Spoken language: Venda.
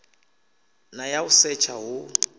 na ya u setsha hu